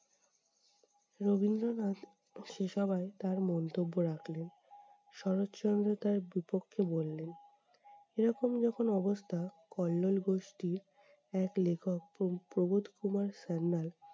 রবীন্দ্রনাথ সে সভায় তার মন্তব্য রাখলেন, শরৎচন্দ্র তার বিপক্ষে বললেন। এরকম যখন অবস্থা কল্লোল গোষ্ঠী্র এক লেখক প্রব প্রবোধ কুমার সান্যাল